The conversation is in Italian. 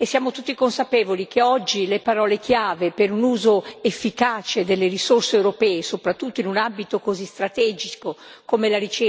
e siamo tutti consapevoli che oggi le parole chiave per un uso efficace delle risorse europee, soprattutto in un ambito così strategico come la ricerca e nella politica di coesione,